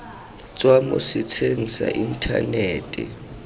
tswa mo setsheng sa inthanete